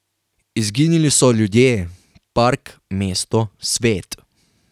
Izginili so ljudje, park, mesto, svet.